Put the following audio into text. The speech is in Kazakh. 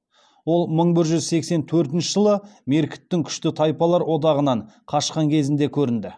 ол мың бір жүз сексен төртінші жылы меркіттің күшті тайпалар одағынан қашқан кезінде көрінді